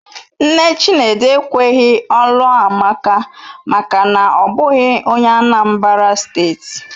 Nne Chinedu ekweghị ọ lụọ Amaka maka na ọ bụghị onye Anambra steeti.